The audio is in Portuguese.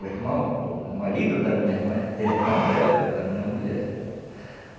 O irmão, o marido da minha mãe, é irmão dela, da minha mulher.